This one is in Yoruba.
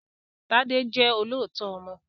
Tádé jẹ́ olóòótọ́ ọmọ